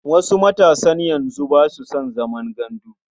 Wasu matasan yanzu ba su san zaman gandu.